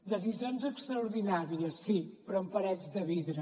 decisions extraordinàries sí però amb parets de vidre